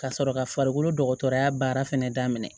Ka sɔrɔ ka farikolo dɔgɔtɔrɔya baara fɛnɛ daminɛ